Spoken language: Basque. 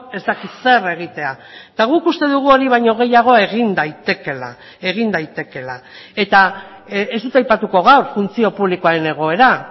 ez dakit zer egitea eta guk uste dugu hori baino gehiago egin daitekeela egin daitekeela eta ez dut aipatuko gaur funtzio publikoaren egoera